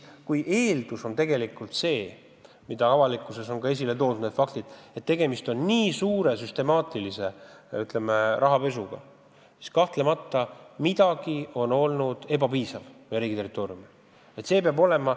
Kui see, mis avalikkuses on esile toodud, osutub faktideks, kui tegemist on ulatusliku süstemaatilise, rahapesuga, siis kahtlemata on midagi meie riigi territooriumil tegemata jäetud.